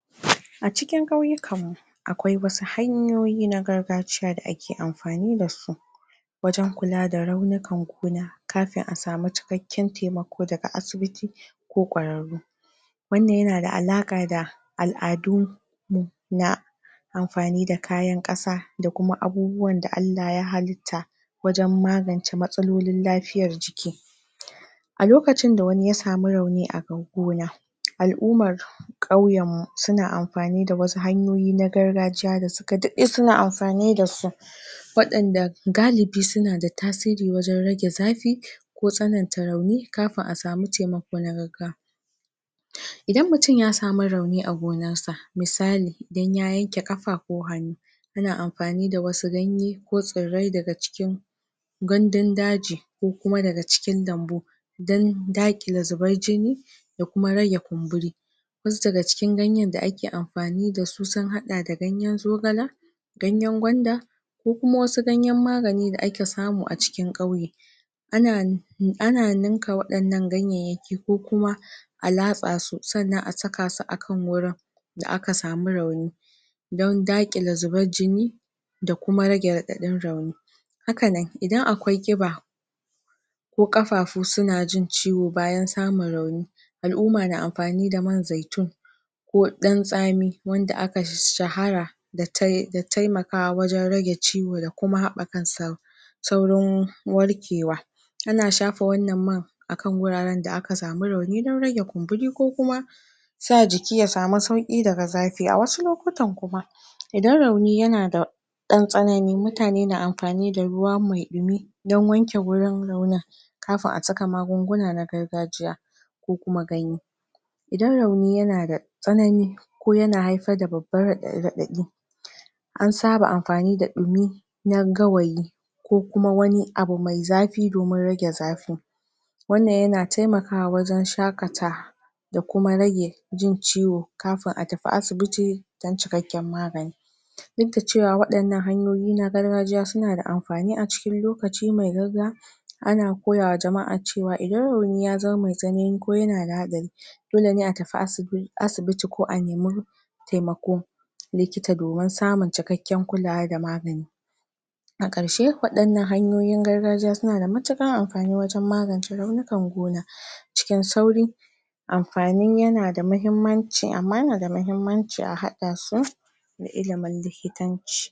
A cikin kauyikan mu akwai wasu hanyoyi na gargajiya da ake amfani dasu wajan kula da raunukan gona kafin a samu cikakken taimako daga asibiti ko ƙwararru, wannan yana da alaka da al'adu mu na amfani da kayan ƙasa da kuma abubuwan da Allah ya halitta wajan magance matsalolin lafiyar jiki. A lokacin da wani ya samu rauni a gona al'ummar kauyan mu suna amfani da wasu hanyoyi na gargajiya da suka ɗaɗe suna amfani dasu waɗanda galibi suna da tasiri wajan rage zafi ko tsananta rauni kafin a samu taimako na gaggawa. Idan mutum ya samu rauni a gonan sa misali, idan ya yanke kafa ko hannu yana amfani da wasu ganye ko tsirrai daga cikin gandun daji ko kuma daga cikin lambu dan daaƙile zubar jini da kuma rage kumburi. Wasu daga cikin ganyan da ake amfani dasu sun haɗa da ganyan zogala, ganyan gwanda, kokuma wasu ganyan magani da ake samu a cikin ƙauye ana ana ninka waɗannan ganyanyaki ko kuma a laatsa su sannan a saka su a kan wurin da aka samu rauni dan daakile zubar jini, da kuma rage raɗaɗin rauni haka nan idan akwai kiɓa ko kafaafu suna jin ciwo bayan samun rauni, al'uma na amfani da man zaitun ko ɗan tsami wanda aka shahara da tai da taimakawa wajan rage ciwo da kuma haɓa kan sahu sauran warkewa, ana shafa wannan man akan wuraran da aka samu rauni dan rage kumburi kokuma sa jiki ya samu sauki daga zafi, wasu lokutan kuma idan rauni yana da dan tsanani mutane na amfani da ruwa mai ɗimi dan wanke gurin raunin kafin a saka magunguna na gargajiya kokuma ko kuma ganye, idan rauni yana da tsanani ko yana haifar da babban raɗaɗi an saba amfani da ɗimi na gawayi ko kuma wani abu mai zafi domin rage zafi wannan yana taimakawa wajan shakata da kuma rage jin ciwo kafin a tafi asibiti dan cikakken magani duk da cewa waɗannan hanyoyi na gargajiya suna da amfani acikin lokaci mai ana koyawa jama'a cewa idan rauni ya zama mai tsanani ko yanada hatsari dole ne a tafi asibi asibiti ko a nemi taimakon likita domin samun cikakken kulawa da magani, na karshe waɗannan hanyoyin gargajiya suna da matuƙar amfani wajan magance raunikan gona cikin sauri amfanin yana da mahimmanci amma yana da mahimmanci a haɗa su da ilimin likitan ci.